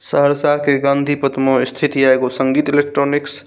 सहरसा के गांधी पथ में स्थित ये एगो संगीत इलेक्ट्रॉनिक्स ।